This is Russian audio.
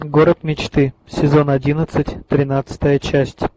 город мечты сезон одиннадцать тринадцатая часть